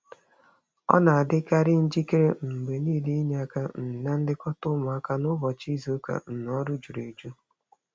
Ọ na-adịkarị njikere um mgbe niile inye aka um na nlekọta ụmụaka n'ụbọchị izuụka um ọrụ juru.